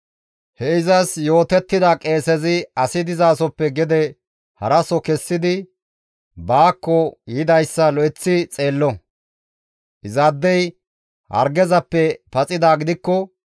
He izas yootettida qeesezi asi dizasoppe gede haraso kessidi baakko yidayssa lo7eththi xeello; izaadey hargezappe paxidaa gidikko,